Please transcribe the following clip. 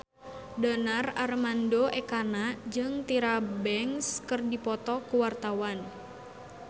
Donar Armando Ekana jeung Tyra Banks keur dipoto ku wartawan